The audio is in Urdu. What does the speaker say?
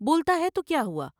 بولتا ہے تو کیا ہوا ۔